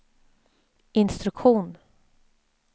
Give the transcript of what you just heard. instruktion